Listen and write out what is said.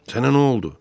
Sənə nə oldu?